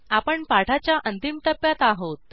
आपण पाठाच्या अंतिम टप्प्यात आहोत